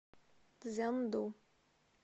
цзянду